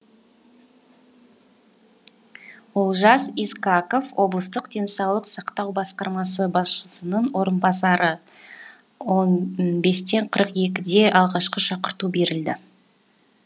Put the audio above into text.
олжас искаков облыстық денсаулық сақтау басқармасы басшысының орынбасары он бесте қырық екіде алғашқы шақырту берілді